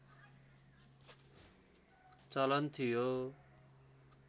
चलन थियो